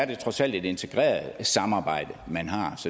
det trods alt et integreret samarbejde man har